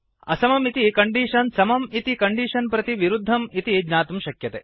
असमम् इति कण्डीषन् समं इति कण्डीषन् प्रति विरुद्धं इति ज्ञातुं शक्यते